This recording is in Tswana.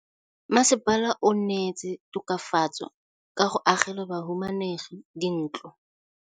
Mmasepala o neetse tokafatsô ka go agela bahumanegi dintlo.